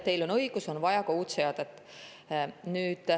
Teil on õigus, et on vaja ka uut seadet.